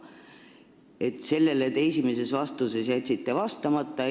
Te jätsite sellele esimeses vastuses vastamata.